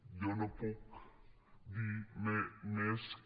jo no puc dir més que